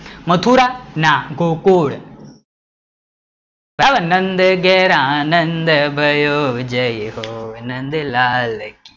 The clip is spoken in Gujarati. મથુરા? ના ગોકુલ, બરાબર, નંદ ઘેર આનંદ ભયો જય હો નંદલાલ કી,